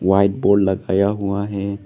White board लगाया हुआ है।